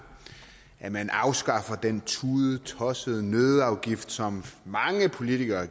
at man afskaffer den tudetossede nøddeafgift som mange politikere